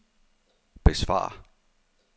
besvar